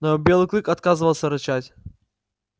но белый клык отказывался рычать